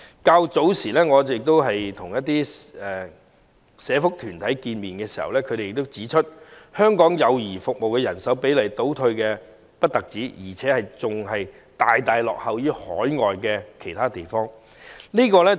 我早前曾會見一些社福團體，他們亦指出香港幼兒服務的人手比例不但倒退，更大大落後於其他海外地方。